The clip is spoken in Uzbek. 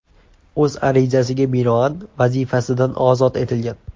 o‘z arizasiga binoan vazifasidan ozod etilgan.